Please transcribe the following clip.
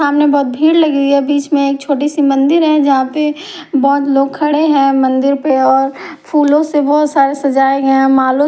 सामने बहुत भीड़ लगी हुई है बीच में एक छोटी सी मंदिर है जहां पे बहुत लोग खड़े हैं मंदिर पे और फूलों से बहुत सारा सजाया गया है मालों--